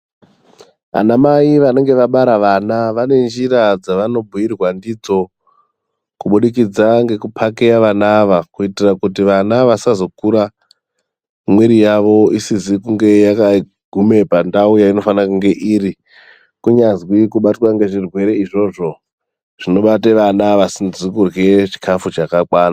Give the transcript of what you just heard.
Anamai vanenge vabara vana vanenjira dzavanobhuirwa ndidzo kubudikidza ngekupakeya vana ava kuitira kuti vana ava vasazokura miri yavo isizi kunge yakaguma pandau yavanofanira kunge iri. Kunyazwi kubatwe ngezvirwere izvozvo zvinobate vana vasizi kurya zvakakwana.